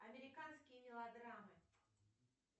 американские мелодрамы